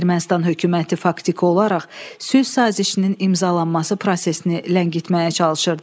Ermənistan hökuməti faktiki olaraq sülh sazişinin imzalanması prosesini ləngitməyə çalışırdı.